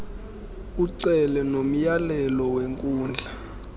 ucele nomyalelo wenkundla